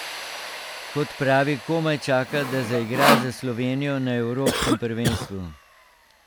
Kot pravi, komaj čaka, da zaigra za Slovenijo na evropskem prvenstvu.